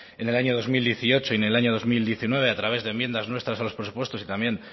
en el año dos mil dieciocho y en el año dos mil diecinueve a través de enmiendas nuestras a los presupuestos y también